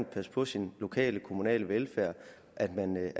passe på sin lokale kommunale velfærd at man